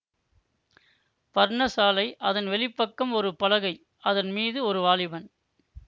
பர்ண சாலை அதன் வெளிப்பக்கம் ஒரு பலகை அதன் மீது ஒரு வாலிபன்